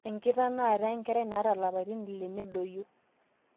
enkitanaata enkerai naata ilapaitin ile nedoyio